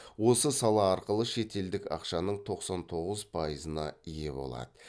осы сала арқылы шетелдік ақшаның тоқсан тоғыз пайызына ие болады